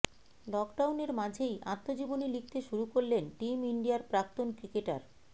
লকডাউনের মাঝেই আত্মজীবনী লিখতে শুরু করলেন টিম ইন্ডিয়ার প্রাক্তন ক্রিকেটার